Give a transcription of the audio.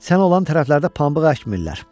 Sən o olan tərəflərdə pambıq əkmirlər.